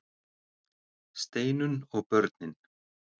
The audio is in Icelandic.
STEINUNN OG BÖRNIN